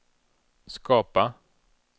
skapa